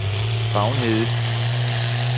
Bavnhede